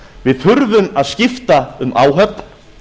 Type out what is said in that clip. við þurfum að skipta um áhöfn